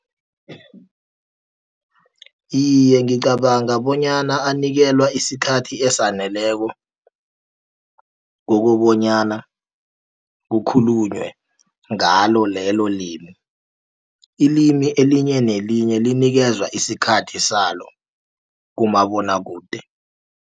Iye, ngicabanga bonyana anikelwa isikhathi esaneleko kokobonyana kukhulunywe ngalo lelo limi Ilimi elinye nelinye linikezwa isikhathi salo kumabonwakude.